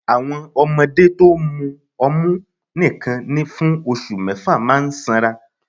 Àwọn ọmọdé to mu ọmú nìkan fún oṣù mẹ́fà máa sanra